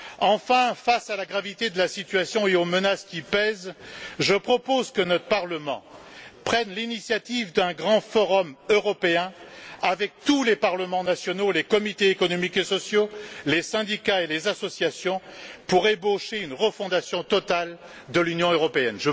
Enfin, face à la gravité de la situation et aux menaces qui pèsent, je propose que notre Parlement prenne l'initiative d'un grand forum européen avec tous les parlements nationaux, les comités économiques et sociaux, les syndicats et les associations, pour ébaucher une refondation totale de l'Union européenne.